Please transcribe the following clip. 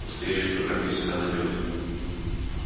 настоящий программист всегда найдёт